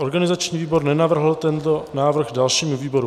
Organizační výbor nenavrhl tento návrh dalšímu výboru.